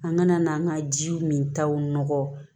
An kana n'an ka jiw min taw nɔgɔ